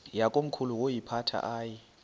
yakomkhulu woyiphatha aye